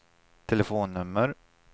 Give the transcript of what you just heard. telefonnummer